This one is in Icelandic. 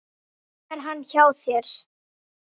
Nú er hann hjá þér.